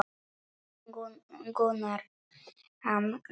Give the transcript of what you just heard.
Grunar hann mig?